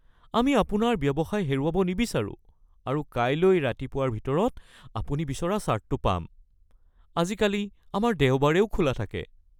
আমি আপোনাৰ ব্যৱসায় হেৰুৱাব নিবিচাৰোঁ আৰু কাইলৈ ৰাতিপুৱাৰ ভিতৰত আপুনি বিচৰা চাৰ্টটো পাম। আজিকালি আমাৰ দেওবাৰেও খোলা থাকে।